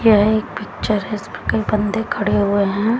यह एक पिक्चर है इसमें कई बंदे खड़े हुए हैं।